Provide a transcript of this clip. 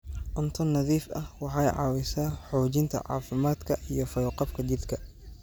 Cunto nadiif ah waxay caawisaa xoojinta caafimaadka iyo fayo-qabka jidhka.